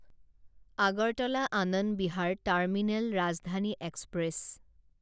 Agartala Anand Vihar terminal Rajdhani express